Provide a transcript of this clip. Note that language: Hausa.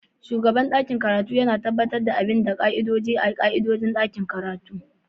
Shugaban ɗakin karatu yana tabbatar da bin ƙa'idodi da ƙa'idodin ɗakin karatu